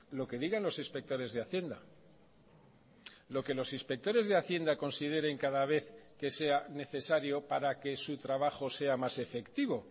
lo que digan los inspectores de hacienda lo que los inspectores de hacienda consideren cada vez que sea necesario para que su trabajo sea más efectivo